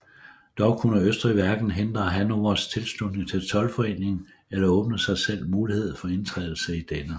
Dog kunne Østrig hverken hindre Hannovers tilslutning til toldforeningen eller åbne sig selv mulighed for indtrædelse i denne